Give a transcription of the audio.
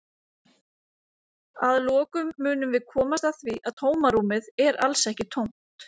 Að lokum munum við komast að því að tómarúmið er alls ekki tómt!